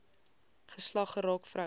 geslag geraak vroue